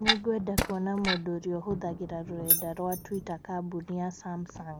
Nĩngwenda kuona mũndũ ũrĩa ũhũthagĩra rũrenda rũa tũita kambũnĩ ya Samsung.